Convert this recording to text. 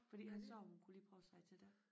Fordi hun sagde hun kunne lige prøve at se til det